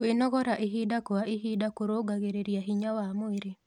Kwĩnogora ĩhĩda kwa ĩhĩda kũrũngagĩrĩrĩa hinya wa mwĩrĩ